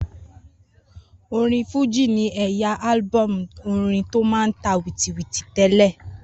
Orin fújì ní ẹ̀yà álúbọ̀mù orin tó máa n tà wìtìtìtì tẹ́lẹ̀